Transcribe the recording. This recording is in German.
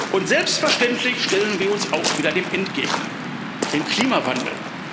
Und selbstverständlich stellen wir uns auch wieder dem Endgegner dem Klimawandel.